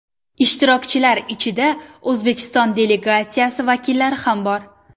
Ishtirokchilar ichida O‘zbekiston delegatsiyasi vakillari ham bor.